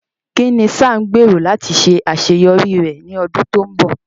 Kín ni Sam gbèrò láti ṣe àṣeyọrí rẹ̀ ní ọdún tó ń bọ̀?